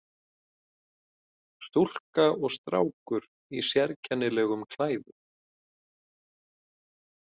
Stúlka og strákur í sérkennilegum klæðum.